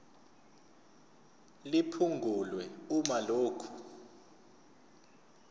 liphungulwe uma lokhu